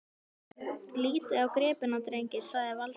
Lítið á gripina, drengir! sagði Valdimar.